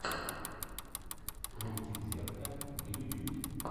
мультик зеркаа на ютюбе